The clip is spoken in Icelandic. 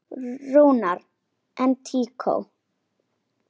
Rúnar: En tíkó?